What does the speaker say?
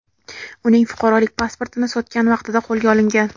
uning fuqarolik pasportini sotgan vaqtida qo‘lga olingan.